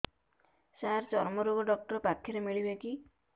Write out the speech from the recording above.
ସାର ଚର୍ମରୋଗ ଡକ୍ଟର ପାଖରେ ମିଳିବେ କି